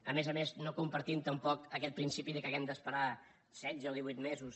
a més a més no compartim tampoc aquest principi que haguem d’esperar setze o divuit mesos